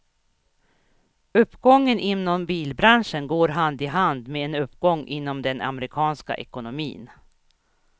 Uppgången inom bilbranschen går hand i hand med en uppgång inom den amerikanska ekonomin.